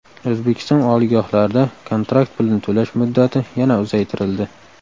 O‘zbekiston oliygohlarida kontrakt pulini to‘lash muddati yana uzaytirildi.